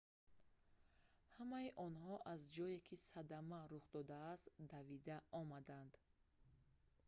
ҳамаи онҳо аз ҷое ки садама рух додааст давида омаданд